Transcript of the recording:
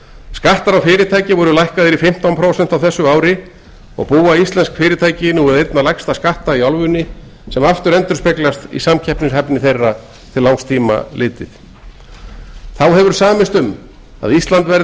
skattar á fyrirtæki voru lækkaðir í fimmtán prósent á þessu ári og búa íslensk fyrirtæki nú við einna lægsta skatta í álfunni sem aftur endurspeglast í samkeppnishæfni þeirra til langs tíma litið þá hefur samist um að ísland verði